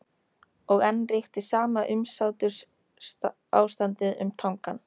Og enn ríkti sama umsáturs- ástandið um Tangann.